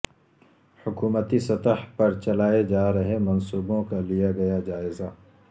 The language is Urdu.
حکومتی سطح پر چلائے جارہے منصوبوں کا لیا گیا جائزہ